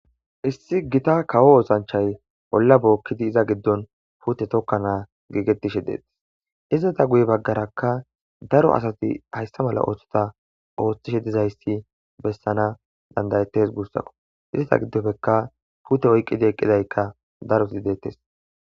Issi gita kawo oothanchay olla bookkidi iza giddon puute tokkana giigettishe dees.izeta guye baggara daro asati hayssa mala ootho oothishe dizayssi beetishe deetes guusako.ista giddopekka puute oyqidi eqqiday daroti deetes.